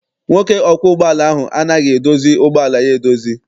Nwoke ọkwọ ụgbọala ahụ anaghị edozi ụgbọala ya edozi.